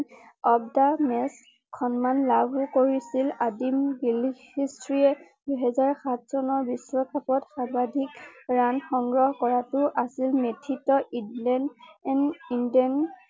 of the match সন্মান লাভ কৰিছিল দুই হাজাৰ সাত চনৰ বিশ্বকাপত সৰ্বাধিক ৰাণ সংগ্ৰহ কৰাটো আছিল ইডলেণ্ড ইণডেণ